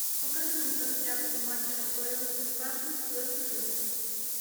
покажи нам трансляцию матча апл ньюкасл вестхэм